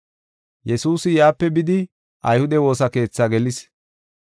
Yesuusi yaape bidi ayhude woosa keethi gelis.